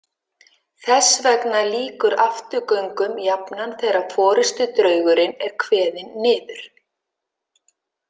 Þess vegna lýkur afturgöngum jafnan þegar forystudraugurinn er kveðinn niður.